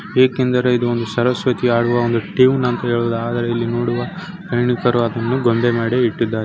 ಏಕೆಂದರೆ ಇದು ಒಂದು ಸರಸ್ವತಿ ಹಾಡುವ ಒಂದು ಟ್ಯೂನ್ ಎನ್ನುವ ಆದರೆ ಇಲ್ಲಿ ನೋಡುವ ಹೆನ್ನಿಬ್ಬರು ಅದನ್ನು ಗೊಂಬೆ ಮಾಡಿ ಇಇಟ್ಟಿದ್ದಾರೆ.